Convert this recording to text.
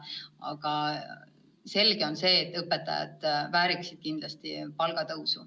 Ent selge on, et õpetajad väärivad kindlasti palgatõusu.